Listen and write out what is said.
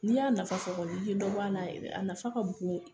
N'i y'a nafa sɔrɔ, i ye dɔ bɔ a la yɛrɛ a nafa ka bon.